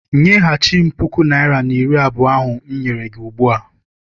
Nyeghachi m puku naịra na iri abụọ ahụ m nyere gị ugbua!